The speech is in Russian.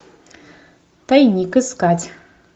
тайник искать